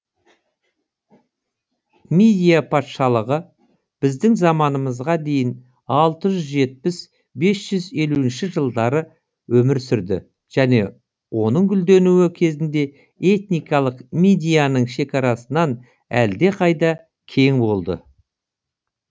мидия патшалығы біздің заманымызға дейін алты жүз жетпіс бес жүз елуінші жылдары өмір сүрді және оның гүлденуі кезінде этникалық мидияның шекарасынан әлдеқайда кең болды